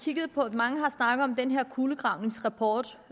mange har snakket om den her kulegravningsrapport